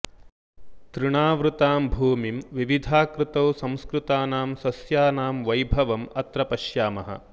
तृणावृतां भूमिं विविधाकृतौ संस्कृतानां सस्यानां वैभवम् अत्र पश्यामः